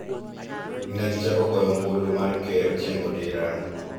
Ne gichako goyo ombulu mar Ker chieng' Odira